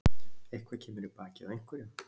Eitthvað kemur í bakið á einhverjum